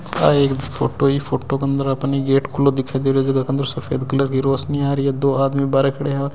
आ एक फोटो ही इ फोटो के अंदर आपाने गेट खुलो दिखाई दे रहियो है जका क अंदर सफेद कलर की रौशनी आ रही है दो आदमी बार खड्या है।